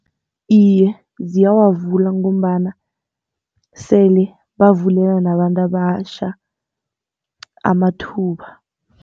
Iye, ziyawavula ngombana sele bavulelwa nabantu abatjha amathuba.